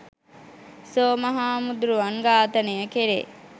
සෝම හාමුදුරුවන් ඝාතනය කරේ